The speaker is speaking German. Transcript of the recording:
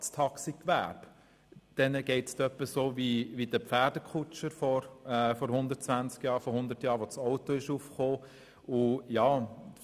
Dem Taxigewerbe geht es bald so, wie den Pferdekutschen vor 100 Jahren, als das Auto aufgekommen ist.